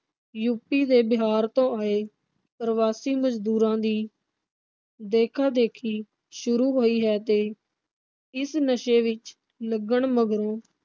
UP ਤੇ ਬਿਹਾਰ ਤੋਂ ਆਏ ਪ੍ਰਵਾਸੀ ਮਜ਼ਦੂਰਾਂ ਦੀ ਦੇਖਾ ਦੇਖੀ ਸ਼ੁਰੂ ਹੋਈ ਹੈ ਤੇ ਇਸ ਨਸ਼ੇ ਵਿਚ ਲੱਗਣ ਮਗਰੋਂ